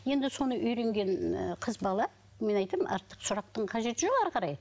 енді соны үйренген ыыы қыз бала мен айтам артық сұрақтың қажеті жоқ әрі қарай